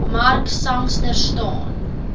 mark sangster staan